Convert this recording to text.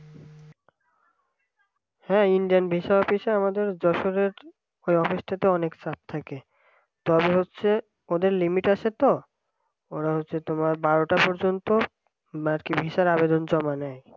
হ্যাঁ indian visa office আমাদের যশোরের office তে অনেক চাপ থাকে তারপর হচ্ছে ওদের limit আছে তো ওরা হচ্ছে তোমার বারোটা পর্যন্ত আর কি visa র আবেদন জমা নেয়